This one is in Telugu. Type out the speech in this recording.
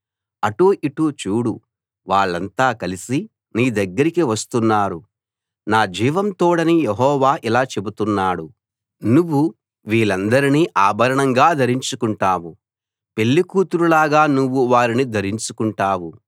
అటూ ఇటూ చూడు వాళ్ళంతా కలిసి నీ దగ్గరికి వస్తున్నారు నా జీవం తోడని యెహోవా ఇలా చెబుతున్నాడు నువ్వు వీళ్ళందరినీ ఆభరణంగా ధరించుకుంటావు పెళ్ళికూతురులాగా నువ్వు వారిని ధరించుకుంటావు